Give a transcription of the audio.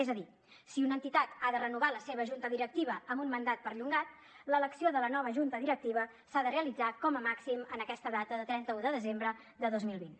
és a dir si una entitat ha de renovar la seva junta directiva amb un mandat perllongat l’elecció de la nova junta directiva s’ha de realitzar com a màxim en aquesta data de trenta un de desembre de dos mil vint